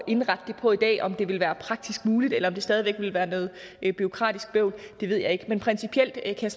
indrette det på i dag om det vil være praktisk muligt eller om det stadig væk vil være noget bureaukratisk bøvl det ved jeg ikke men principielt kan